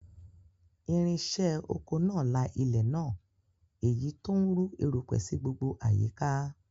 Irinṣẹ́ oko náà la ilẹ̀ náà, èyí tó ń rú erùpẹ̀ sí gbogbo àyíká